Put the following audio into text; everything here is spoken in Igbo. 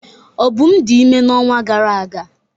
Obum dị ime n'ọnwa gara aga.